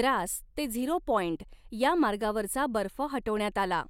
द्रास ते zero point या मार्गावरचा बर्फ हटवण्यात आला.